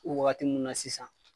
O wagati ninnu na sisan.